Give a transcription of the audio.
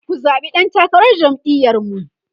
ku zaɓi ɗan takarar jam'iyar mu!